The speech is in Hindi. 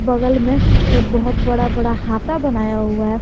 बगल में बहोत बड़ा बड़ा हाता बनाया हुआ है।